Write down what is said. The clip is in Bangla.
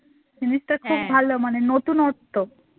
জিনিসটা খুব ভালো মানে নতুনত্ব